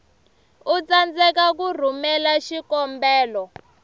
u tsandzeka ku rhumela xikombelo